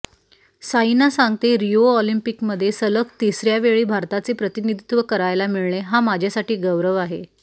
साईना सांगते रिओ ऑलिंपिकमध्ये सलग तिसर्यावेळी भारताचे प्रतिनिधित्व करायला मिळणे हा माझ्यासाठी गौरव आहे